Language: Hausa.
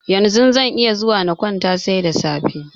Yanzu zan iya zuwa na kwanta, sai da safe.